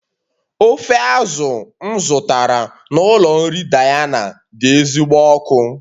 Ofe azụ̀ m zụtara n'ụlọ nri Diana dị ezigbo ọkụ